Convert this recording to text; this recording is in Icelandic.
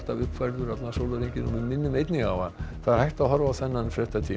uppfærður allan sólarhringinn við minnum einnig á að það er hægt að horfa á þennan fréttatíma